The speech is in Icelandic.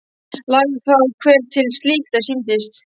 Lagði þá hver til slíkt er sýndist.